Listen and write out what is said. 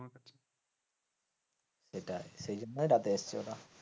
সেটাই সেই জন্যই রাতে এসেছে ওরা।